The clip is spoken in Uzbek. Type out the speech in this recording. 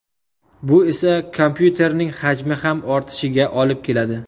Bu esa kompyuterning hajmi ham ortishiga olib keladi.